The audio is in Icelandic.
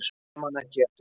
Ég man ekki eftir því.